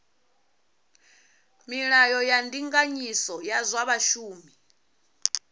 milayo ya ndinganyiso ya zwa vhashumi